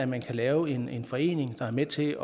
man kan lave en en forening der er med til